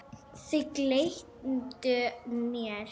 Þau gleymdu mér.